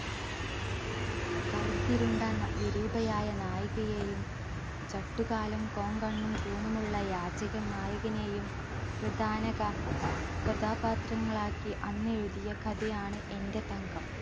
കറുത്തിരുണ്ട ന വിരൂപയായ നായികയെയും ചട്ടുകാലും കോങ്കണ്ണും കൂനുമുള്ള യാചകൻ നായകനെയും പ്രധാന ക കഥാപാത്രങ്ങളാക്കി അന്നെഴുതിയ കഥയാണ് എന്റെ തങ്കം.